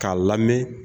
K'a lamɛn